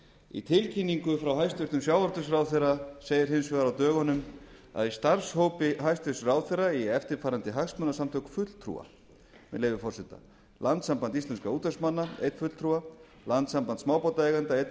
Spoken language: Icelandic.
í tilkynningu frá hæstvirtum sjávarútvegsráðherra segir hins vegar á dögunum að í starfshópi hæstvirtur ráðherra eigi eftirfarandi hagsmunasamtök fulltrúa með leyfi forseta landssamband íslenskra útvegsmanna einn fulltrúa landssamband smábátaeigenda einn